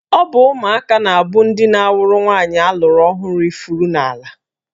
Ọ bụ ụmụaka na-abụ ndị na-awụrụ nwaanyị alụrụ ọhụrụ ifuru n'ala.